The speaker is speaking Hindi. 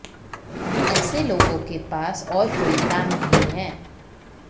ऐसे लोगों के पास और कोई काम नहीं है